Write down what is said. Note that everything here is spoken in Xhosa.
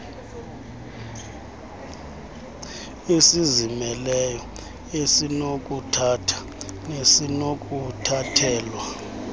esizimeleyo esinokuthatha nesinokuthathelwa